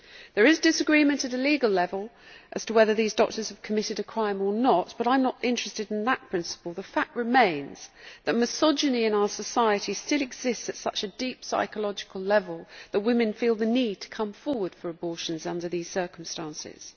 There is disagreement at a legal level as to whether these doctors have committed a crime or not, but I am not interested in that principle the fact remains that misogyny in our society still exists at such a deep psychological level that women feel the need to come forward for abortions under these circumstances.